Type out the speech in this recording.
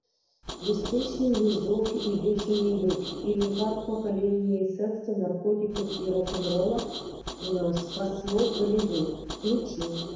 беспечный ездок и бешеный бык или как поколение секса наркотиков и рок н ролла спасло голливуд включи